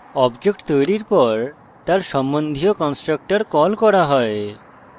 object তৈরীর পর তার সম্বন্ধীয় constructor কল করা হয়